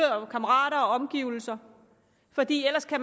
kammerater og omgivelser fordi